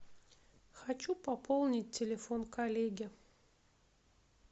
хочу пополнить телефон коллеги